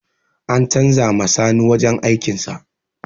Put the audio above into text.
An canza ma sani wajen aikin sa